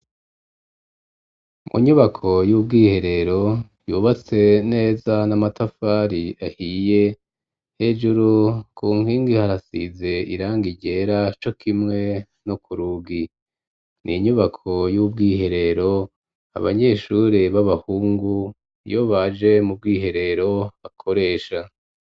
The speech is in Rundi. Mu nyubako y'ubwiherero, yubatse neza n'amatafari ahiye, hejuru ku nkingi harasize irangi ryera co kimwe no ku rugi; ni inyubako y'ubwiherero abanyeshure b'abahungu iyo baje mu bwiherero, bakoresha.